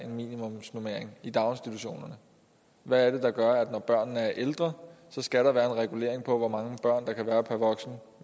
en minimumsnormering i daginstitutionerne hvad er det der gør at når børnene er ældre skal der være en regulering af hvor mange børn der kan være per voksen